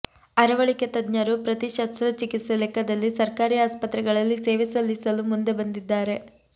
ಅರವಳಿಕೆ ತಜ್ಞರು ಪ್ರತಿ ಶಸ್ತ್ರಚಿಕಿತ್ಸೆ ಲೆಕ್ಕದಲ್ಲಿ ಸರ್ಕಾರಿ ಆಸ್ಪತ್ರೆಗಳಲ್ಲಿ ಸೇವೆ ಸಲ್ಲಿಸಲು ಮುಂದೆ ಬಂದಿದ್ದಾರೆ